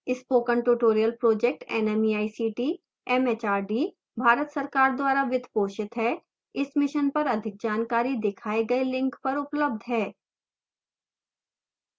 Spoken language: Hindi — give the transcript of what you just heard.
spoken tutorial project nmeict mhrd Bharat सरकार द्वारा वित्त पोषित है इस मिशन पर अधिक जानकारी दिखाए गए लिंक पर उपलब्ध है